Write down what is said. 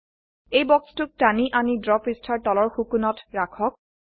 এই বক্সটোক টানি আনি ড্ৰ পৃষ্ঠাৰ তলৰ সো কোণত ৰাখক